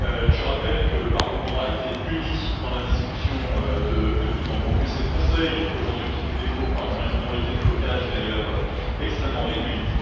Je rappelle que le Parlement a été uni dans la discussion de bout en bout et que c'est le Conseil, aujourd'hui, qui fait défaut par une minorité de blocage, d'ailleurs extrêmement réduite.